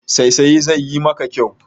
Saisaye zai yi maka kyau.